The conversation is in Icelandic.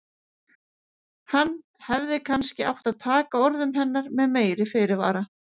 Hann hefði kannski átt að taka orðum hennar með meiri fyrirvara.